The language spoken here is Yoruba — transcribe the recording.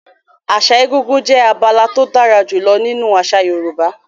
Àṣà egúngún jẹ́ abala tó dára jùlọ nínú àṣà Yorùbá.